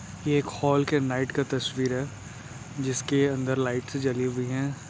ये एक हॉल की नाईट का तस्वीर है। जिसके अंदर लाइटस जली हुई है।